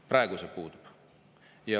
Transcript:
Praegu see puudub.